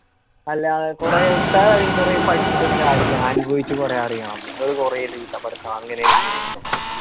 അല്ലാ കൊറേ ഉസ്താദ് കൊറേ പഠിച്ചിട്ടും കാര്യുല്ലാ അനുഭവിച്ചു കുറെ അറിയണം നിങ്ങള് കൊറേ അങ്ങനെയാണ് ഇങ്ങനെയാണ് എന്നൊക്കെ പറഞ്